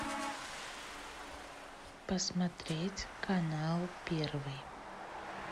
посмотреть канал первый